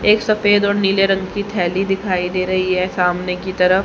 एक सफेद और नीले रंग की थैली दिखाई दे रही है सामने की तरफ--